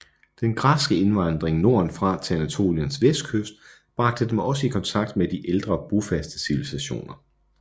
Den græske indvandring nordenfra til Anatoliens vestkyst bragte dem også i kontakt med de ældre bofaste civilisationer